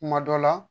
Kuma dɔ la